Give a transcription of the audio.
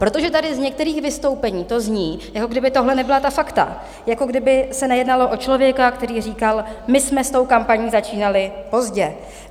Protože tady z některých vystoupení to zní, jako kdyby tohle nebyla ta fakta, jako kdyby se nejednalo o člověka, který říkal: "My jsme s tou kampaní začínali pozdě.